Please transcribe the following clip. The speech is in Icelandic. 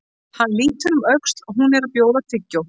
Hann lítur um öxl, hún er að bjóða tyggjó.